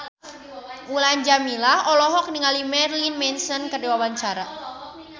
Mulan Jameela olohok ningali Marilyn Manson keur diwawancara